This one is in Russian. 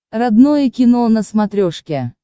родное кино на смотрешке